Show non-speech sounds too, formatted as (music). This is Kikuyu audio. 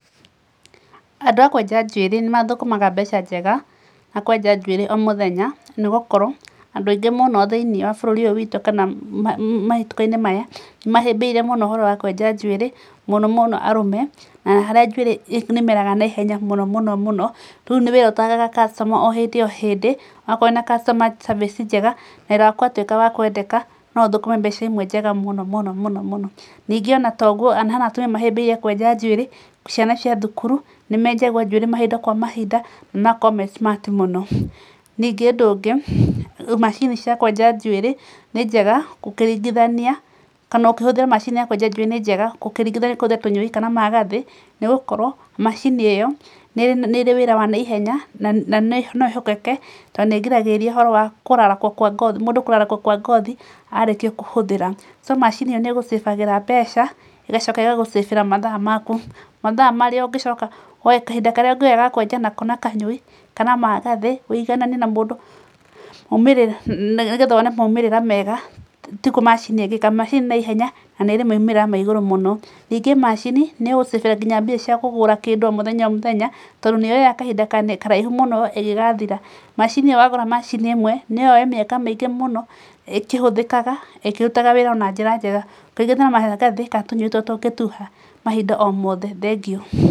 Andũ a kwenja njuĩrĩ ni mathũkũmaga mbeca njega na kwenja njuĩrĩ o mũthenya nĩ gũkorwo andũ aingĩ monũ thĩinĩ wa bũrũri ũyũ witũ kana mahĩtũka-inĩ maya mahĩmbĩirie mũno ũhoro wa kwenja njuĩrĩ mũno mũno arũme. Na harĩa njuĩrĩ nĩ ĩmeraga naihenya mũno mũno mũno, rĩu nĩ wĩra ũtaagaga customer o hĩndĩ hĩndĩ. Wakorwo wĩna customer service njega wĩra waku ũgatuĩka wa kwendeka, no ũthũkũme mbeca njega mũno. Ningĩ ona to ũguo, hena atumia mahĩmbĩirie kwenja njuĩrĩ, ciana cia thukuru nĩ menjagwo njuĩrĩ mahinda kwa mahinda magakorwo me smart mũno. Ningĩ ũndũ ũngĩ macini cia kwenja njuĩrĩ ni njega ũkĩringithania kana ũkĩhũthĩra macini ya kwenja njuĩrĩ ni njega ũkĩringithania kũhũthĩra tũnyoi kana magathĩ, nĩ gũkorwo macini ĩyo nĩ ĩrĩ wĩra wa naihenya na no ĩhokeke tondũ nĩ ĩgiragĩrĩria ũhoro wa kũrarakwokwa ngothi mũndũ kũrarakwo kwa ngothi arĩkia kũhũthĩra. So macini ĩyo nĩ ĩĩ gũ save mũndũ mbeca, ĩgacoka ĩgagũ save mathaa maku. Mathaa marĩa ũngĩcoka woe kahinda karĩa ũngĩoya kwenja na kanyũi kana magathĩ ũiganane na mũndũ nĩgetha wone moimĩrĩra mega tiguo macini ĩngĩka. Macini nĩ naihenya na nĩ ĩrĩ moimĩrĩra ma igũrũ mũno. Ningĩ macini nĩ ĩgũgũ save mbia cia kũgũra kĩndũ o mũthenya o mũthenya, tondũ nĩ yoyaga kahinda karaihu mũno ĩgĩgathira. Macini ĩyo wagũra macini ĩmwe no yoe mĩaka mĩingĩ mũno ĩkĩhũthĩkaga ĩkĩrutaga wĩra o na njĩra njega (inaudible) kana tũnyoi turĩa tũngĩtuha mahinda o mothe. Thengiũ.